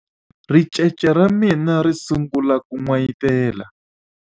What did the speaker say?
ricece ra mina ri sungule ku n'wayitela